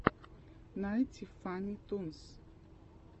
найти фанни тунс